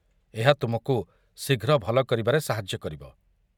ଏହା ତୁମକୁ ଶୀଘ୍ର ଭଲ କରିବାରେ ସାହାଯ୍ୟ କରିବ।